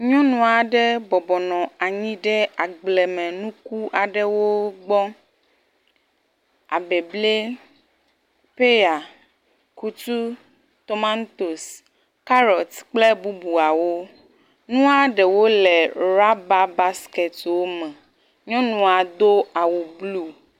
Nyɔnu aɖe bɔbɔnɔ anyi ɖe agblemenuku aɖewo gbɔ, abeble, peya, kutu, tomantos, carrot kple bubuawo. Nua ɖewo le rubber basket wo me, nyɔnua do awu blu.